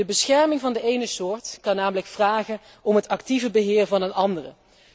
De bescherming van de ene soort kan namelijk vragen om het actieve beheer van een andere.